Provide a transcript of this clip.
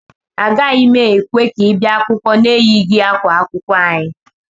Agaghị m ekwe ka ị bịa akwụkwọ na-eyighị yunifọm akwụkwọ anyị